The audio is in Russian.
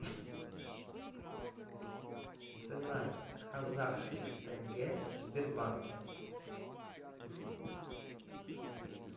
цена казахских тенге в сбербанке